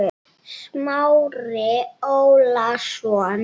Smári Ólason.